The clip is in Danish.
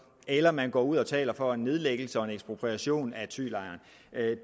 eller man går ud og taler for en nedlæggelse og en ekspropriation af thylejren